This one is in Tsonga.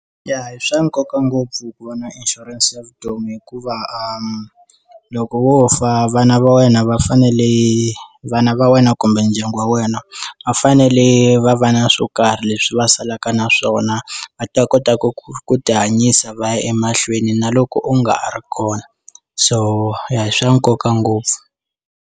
Ya i swa nkoka ngopfu ku va na inshurense ya vutomi hikuva a loko wo fa vana va wena va fanele vana va wena kumbe ndyangu wa wena a fanele va va na swo karhi leswi va salaka na swona va ta kota ku ku ku ti hanyisa va ya emahlweni na loko u nga ha ri kona so ya hi swa nkoka ngopfu.